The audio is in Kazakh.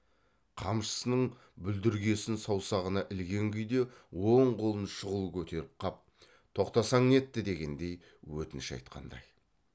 қамшысының бүлдіргесін саусағына ілген күйде оң қолын шұғыл көтеріп қап тоқтасаң нетті дегендей өтініш айтқандай